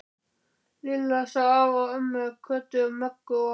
Lilla sá afa og ömmu, Kötu, Möggu og